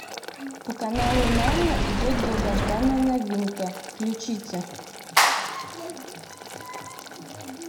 по каналу нана идет долгожданная новинка включите